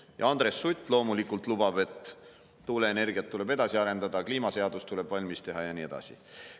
Ja Andres Sutt loomulikult lubab, et tuuleenergiat tuleb edasi arendada, kliimaseadus tuleb valmis teha ja nii edasi.